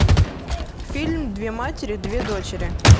фильм две матери две дочери